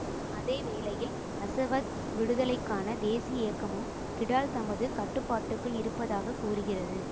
அதே வேளையில் அசவாத் விடுதலைக்கான தேசிய இயக்கமும் கிடால் தமது கட்டுப்பாட்டுக்குள் இருப்பதாக கூறுகிறது